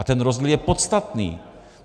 A ten rozdíl je podstatný.